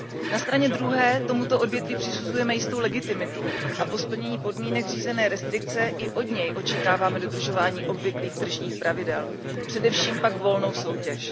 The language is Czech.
Na straně druhé tomuto odvětví přisuzujeme jistou legitimitu a po splnění podmínek řízené restrikce i od něj očekáváme dodržování obvyklých tržních pravidel, především pak volnou soutěž.